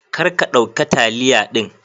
kar ka dauka taliya din.